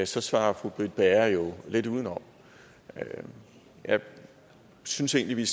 så svarer fru britt bager jo lidt udenom jeg synes egentlig vi